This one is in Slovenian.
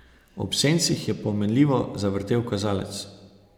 Ob sencih je pomenljivo zavrtel kazalec.